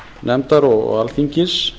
forsætisnefndar og alþingis